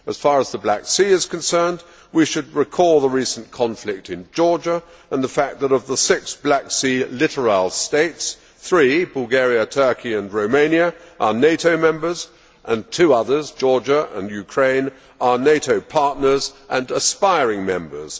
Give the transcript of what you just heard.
As far as the Black Sea is concerned, we should recall the recent conflict in Georgia and the fact that, of the six Black Sea littoral states, three Bulgaria, Turkey and Romania are NATO members, and two others Georgia and Ukraine are NATO partners and aspiring members.